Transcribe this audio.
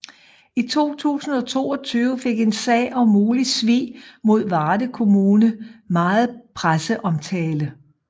I 2022 fik en sag om mulig svig mod Varde kommune meget presseomtale